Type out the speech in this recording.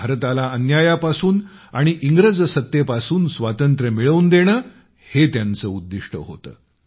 भारताला अन्यायापासून आणि इंग्रज सत्तेपासून स्वातंत्र्य मिळवून देणे हे त्यांचे उद्दिष्ट होते